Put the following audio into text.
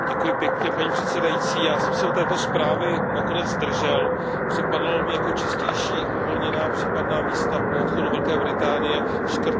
Paní předsedající, já jsem se u této zprávy nakonec zdržel, připadalo mi jako čistější uvolněná případná místa po odchodu Velké Británie škrtnout.